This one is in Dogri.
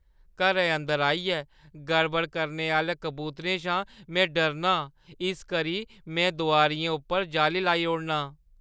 घरै अंदर आइयै गड़बड़ करने आह्‌ले कबूतरें शा में डरना आं। इस करी में दुआरियें उप्पर जाली लाई ओड़नां।